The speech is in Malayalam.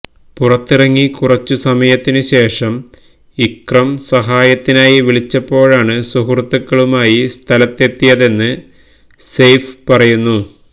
പുറത്തിറങ്ങി കുറച്ചു സമയത്തിനു ശേഷം ഇക്രം സഹായത്തിനായി വിളിച്ചപ്പോഴാണ് സുഹൃത്തുക്കളുമായി സ്ഥലത്തെത്തിയതെന്ന് സെയ്ഫ് പറയുന്നു